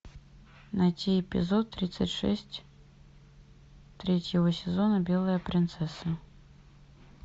найти эпизод тридцать шесть третьего сезона белая принцесса